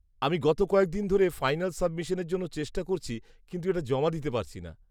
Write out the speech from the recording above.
আমি গত কয়েকদিন ধরে ফাইনাল সাবমিশানের জন্য চেষ্টা করছি, কিন্তু এটা জমা দিতে পারছি না।